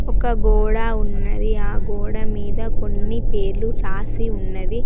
ఒక గోడ ఉన్నది ఆ గోడ మీద కొన్ని పేర్లు రాసి ఉన్న.